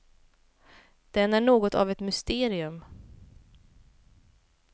Den är något av ett mysterium.